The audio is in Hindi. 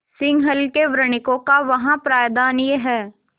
सिंहल के वणिकों का वहाँ प्राधान्य है